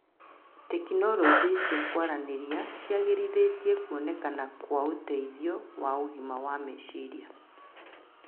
Tekinoronjĩ cia kũaranĩria ciagĩrithĩtie kuonekana kwa ũteithio wa ũgima wa meciria